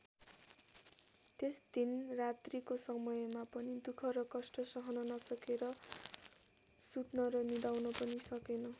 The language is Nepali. त्यस दिन रात्रिको समयमा पनि दुख र कष्ट सहन नसकेर सुत्न र निदाउन पनि सकेन।